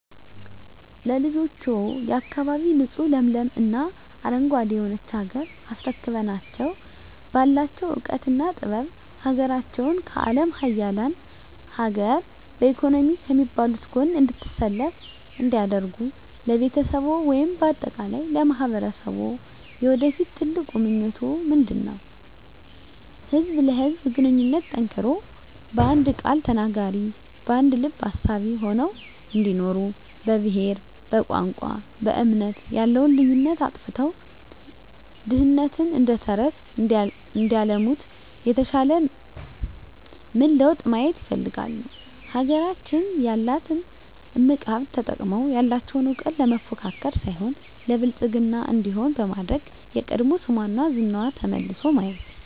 ለልጆችዎ፣ የአካባቢ ንፁህ ለምለም እና አረንጓዴ የሆነች ሀገር አስረክበናቸው ባላቸው እውቀትና ጥበብ ሀገራቸውን ከአለም ሀያላን ሀገር በኢኮኖሚ ከሚባሉት ጎን እንድትሰለፍ እንዲያደርጉ ለቤተሰብዎ ወይም በአጠቃላይ ለማህበረሰብዎ የወደፊት ትልቁ ምኞቶ ምንድነው? ህዝብ ለህዝብ ግንኙነቱ ጠንክሮ በአንድ ቃል ተናጋሪ በአንድ ልብ አሳቢ ሆነው እንዲኖሩ በብሄር በቋንቋ በእምነት ያለውን ልዩነት አጥፍተው ድህነትን እደተረተረት እንዲያለሙት የተሻለ ምን ለውጥ ማየት ይፈልጋሉ? ሀገራችን ያላትን እምቅ ሀብት ተጠቅመው ያለቸውን እውቀት ለመፎካከር ሳይሆን ለብልፅግና እንዲሆን በማድረግ የቀድሞ ስሟና ዝናዋ ተመልሶ ማየት